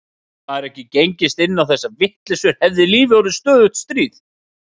Hefði maður ekki gengist inn á þessar vitleysur hefði lífið orðið stöðugt stríð.